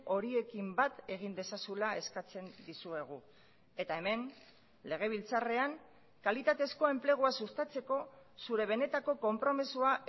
horiekin bat egin dezazula eskatzen dizuegu eta hemen legebiltzarrean kalitatezko enplegua sustatzeko zure benetako konpromisoa